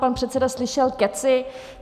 Pan předseda slyšel kecy.